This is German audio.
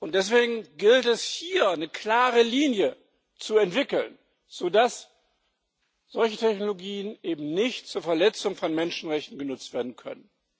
Deswegen gilt es, hier eine klare Linie zu entwickeln, so dass solche Technologien eben nicht zur Verletzung von Menschenrechten genutzt werden können.